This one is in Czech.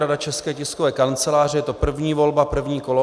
Rada České tiskové kanceláře, je to první volba, první kolo.